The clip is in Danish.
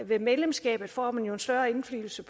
ved medlemskabet får man jo en større indflydelse